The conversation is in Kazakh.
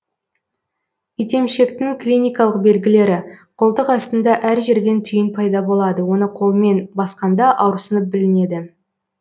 итемшектің клиникалық белгілері қолтық астында әр жерден түйін пайда болады оны қолмен басқанда ауырсынып білінеді